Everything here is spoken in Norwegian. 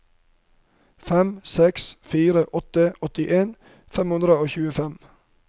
fem seks fire åtte åttien fem hundre og tjuefem